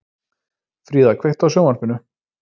Fríða, kveiktu á sjónvarpinu.